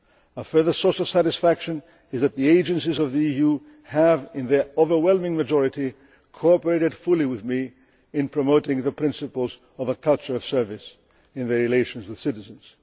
Bank. A further source of satisfaction is that the agencies of the EU have in their overwhelming majority cooperated fully with me in promoting the principles of a culture of service in their relations with citizens.